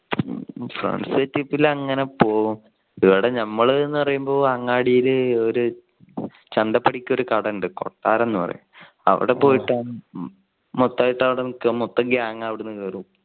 friends ആയിട്ട് അങ്ങനെ പോകും. ഇവിടെ നമ്മൾ എന്ന് പറയുമ്പോൾ അങ്ങാടിയിൽ ഒരു ചന്തപ്പടിക്കൽ ഒരു കട ഉണ്ട് കൊട്ടാരം എന്ന് പറയും അവിടെ പോയിട്ട് മൊത്തായിട്ട് മൊത്തം gang അവിടെന്ന് കയറും.